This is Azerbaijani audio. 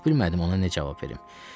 Heç bilmədim ona nə cavab verim.